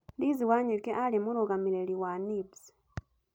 Liz Wanyoike aarĩ mũrũgamĩrĩri wa NIBS.